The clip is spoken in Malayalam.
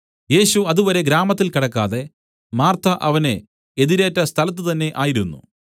യേശു അതുവരെ ഗ്രാമത്തിൽ കടക്കാതെ മാർത്ത അവനെ എതിരേറ്റ സ്ഥലത്ത് തന്നേ ആയിരുന്നു